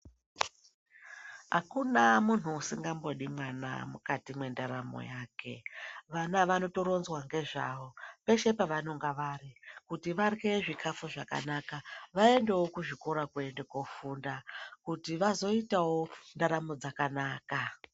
Akuna munhu usingangodi vana mukati mendaramo yake vana vanotoronzwa nezvavo peshe pavanonga vari kuti varye zvikafu zvakanaka vaendewo kuzvikora zvedu kofunda kuti vaitewo ndaramo dzakanaka.